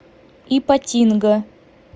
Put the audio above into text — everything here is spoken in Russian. ипатинга